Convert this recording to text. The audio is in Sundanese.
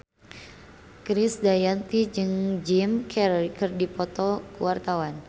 Krisdayanti jeung Jim Carey keur dipoto ku wartawan